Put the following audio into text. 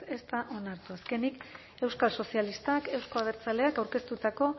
ez da onartu azkenik euskal sozialistak euzko abertzaleak aurkeztutako